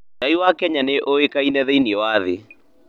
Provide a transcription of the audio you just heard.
Cai wa Kenya nĩ ũĩkaine thĩinĩ wa thĩ.